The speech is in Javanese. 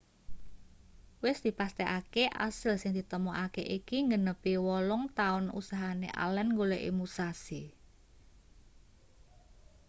wis dipastekake asil sing ditemokake iki nggenepi wolung-taun usahane allen nggoleki musashi